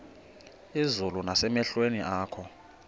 izulu nasemehlweni akho